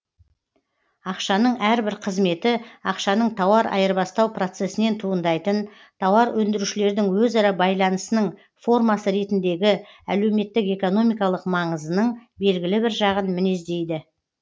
ақшаның әрбір қызметі ақшаның тауар айырбастау процесінен туындайтын тауар өндірушілердің өзара байланысының формасы ретіндегі әлеуметтік экономикалық маңызының белгілі бір жағын мінездейді